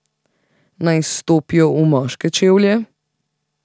Naj stopijo v moške čevlje?